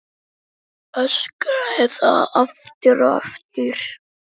Öskraði það aftur og aftur.